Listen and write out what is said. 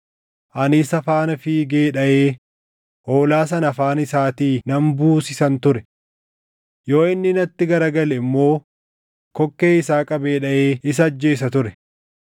ani isa faana fiigee dhaʼee hoolaa sana afaan isaatii nan buusisan ture. Yoo inni natti gara gale immoo kokkee isaa qabee dhaʼee isa ajjeesa ture.